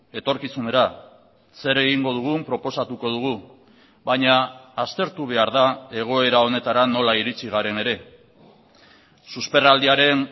etorkizunera zer egingo dugun proposatuko dugu baina aztertu behar da egoera honetara nola iritsi garen ere susperraldiaren